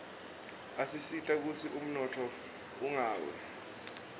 asisita kutsi umnotfo ungawi